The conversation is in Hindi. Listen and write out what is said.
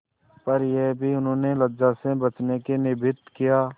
पर यह भी उन्होंने लज्जा से बचने के निमित्त किया